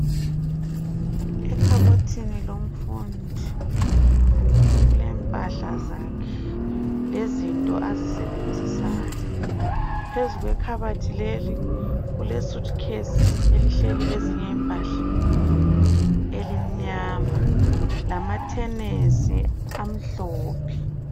Ekhabothini lomfundi kulempahla zakhe lezinto azisebenzisayo. Phezu kwekhabothi leli, kulesuthukhesi elihleli ezinye impahla elimnyama lamathenisi amhlophe.